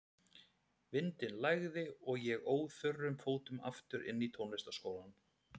Vindinn lægði og ég óð þurrum fótum aftur inn í tónlistarskólann.